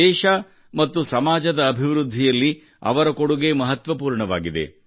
ದೇಶ ಮತ್ತು ಸಮಾಜದ ಅಭಿವೃದ್ಧಿಯಲ್ಲಿ ಅವರ ಕೊಡುಗೆ ಮಹತ್ವಪೂರ್ಣವಾಗಿದೆ